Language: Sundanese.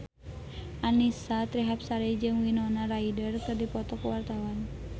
Annisa Trihapsari jeung Winona Ryder keur dipoto ku wartawan